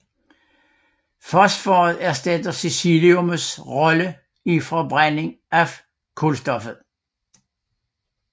Fosforet erstatter siliciummets rolle i forbrændingen af kulstoffet